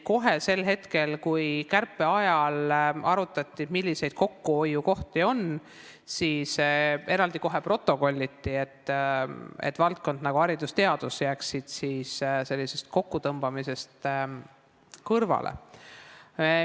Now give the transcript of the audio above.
Kohe sel hetkel, kui arutati, milliseid kokkuhoiukohti on, siis eraldi protokolliti, et sellised valdkonnad nagu haridus ja teadus jääksid kokkutõmbamisest kõrvale.